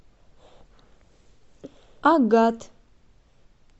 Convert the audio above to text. агат